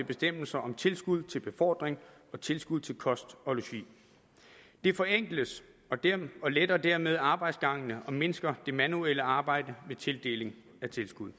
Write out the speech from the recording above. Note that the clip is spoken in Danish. bestemmelser om tilskud til befordring og tilskud til kost og logi det forenkles og letter dermed arbejdsgangen og mindsker det manuelle arbejde med tildeling af tilskud